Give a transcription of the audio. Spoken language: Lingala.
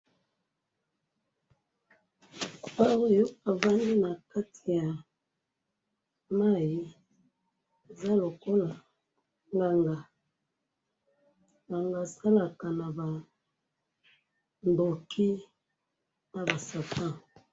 Papa oyo avandi nakati yamayi, aza lokola nganga, nganga asalaka nabandoki, naba Satan.